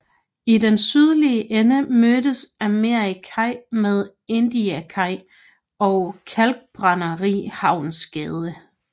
I den sydlige ende mødes Amerikakaj med Indiakaj og Kalkbrænderihavnsgade